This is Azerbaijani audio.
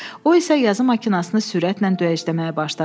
O isə yazı maşınını sürətlə döyəcləməyə başladı.